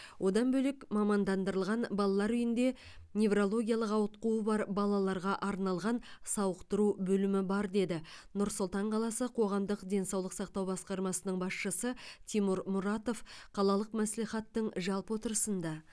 одан бөлек мамандандырылған балалар үйінде неврологиялық ауытқуы бар балаларға арналған сауықтыру бөлімі бар деді нұр сұлтан қаласы қоғамдық денсаулық сақтау басқармасының басшысы тимур мұратов қалалық мәслихаттың жалпы отырысында